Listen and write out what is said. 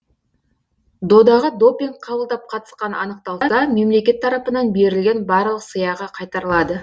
додаға допинг қабылдап қатысқаны анықталса мемлекет тарапынан берілген барлық сыйақы қайтарылады